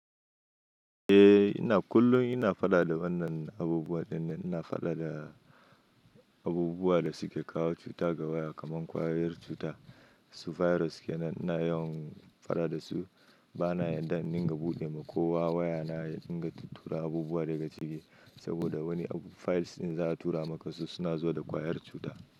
Eh ina kullum ina fada da wannan abubuwa dinnan, ina fada da abubuwa da suke kawo cuta ga waya kamar ƙwayar cuta, su virus kenan ina yawan fada da su. Bana yadda in dinga buɗe ma kowa waya na dinga tura abubuwa daga ciki saboda wani files ɗin za a tura maka su suna zuwa da ƙwayar cuta.